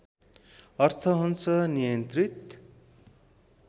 अर्थ हुन्छ नियन्त्रित